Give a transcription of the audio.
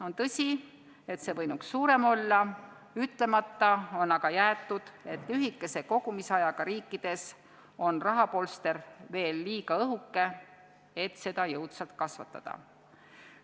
On tõsi, et see võinuks olla suurem, ütlemata on aga jäetud, et lühikese kogumisajaga riikides on rahapolster veel liiga õhuke, et seda jõudsalt kasvatada.